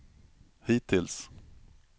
hittills